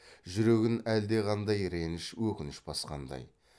жүрегін әлдеқандай реніш өкініш басқандай